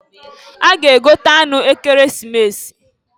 A ga-egote anụ Ekeresimesi.